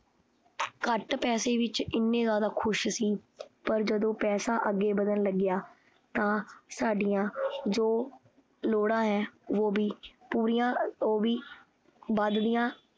ਘੱਟ ਪੈਸੇ ਵਿਚ ਏਨੇ ਜ਼ਿਆਦਾ ਖੁਸ਼ ਸੀ ਪਰ ਜਦੋਂ ਪੈਸਾ ਅਗੇ ਵਧਣ ਲੱਗਿਆ ਤਾਂ ਸਾਡੀਆਂ ਜੋ ਲੋੜਾਂ ਹੈ ਵੋ ਵੀ ਪੂਰੀਆਂ ਉਹ ਵੀ ਵੱਧਦੀਆ